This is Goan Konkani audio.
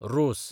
रोस